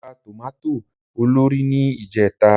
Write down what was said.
Mo ra tòmátò olórìí ní ìjẹta